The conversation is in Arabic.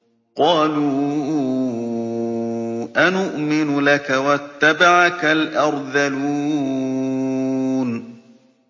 ۞ قَالُوا أَنُؤْمِنُ لَكَ وَاتَّبَعَكَ الْأَرْذَلُونَ